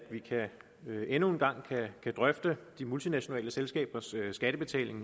vi endnu en gang kan drøfte de multinationale selskabers skattebetaling